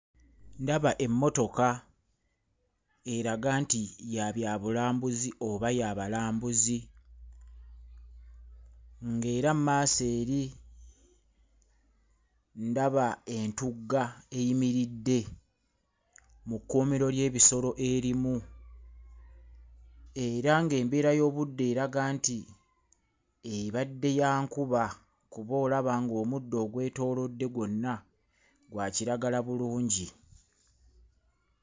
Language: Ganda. Ndaba emmotoka. Eraga nti ya byabulambuzi oba ya balambuzi. Era mmaaso eri ndaba entugga eyimiridde mu kkuumiro ly'ebisolo erimu era ng'embeera y'obudde eraga nti ebadde ya nkuba kuba olaba ng'obuddo obwetoolodde gwonna bwa kiragala bulungi.